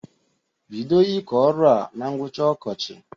Bido ịkọ ọrụ a na ngwụcha ọkọchị!